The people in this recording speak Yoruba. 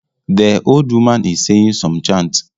The old woman is saying some chants